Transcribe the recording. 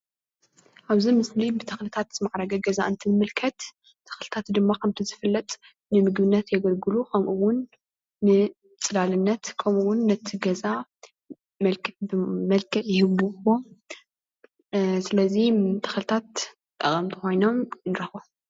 ኣብዚ ምስሊ ብተኽልታት ዝማዕረገ ገዛ እንትንምልከት ተኽልታት ድማ ኸምቲ ዝፍለጥ ንምግብነት የገልግሉ ኸምኡውን ንፅላልነት ኸምኡውን ነቲ ገዛ መልኽዕ ይህብዎ ።አ ስለዚ ተኽልታት ጠቀምቲ ኾይኖም ንርኸቦም።